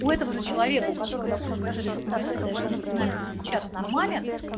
у этого же человека у которого допустим даже результат тест тромбодинамики сейчас нормален